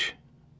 Voyniç.